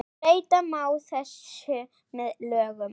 Breyta má þessu með lögum